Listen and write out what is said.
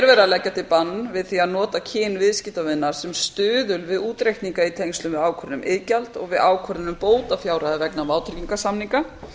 að leggja til bann við því að nota kyn viðskiptavinar sem stuðul við útreikninga í tengslum við ákvörðun um iðgjald og við ákvörðun um bótafjárhæð vegna vátryggingarsamninga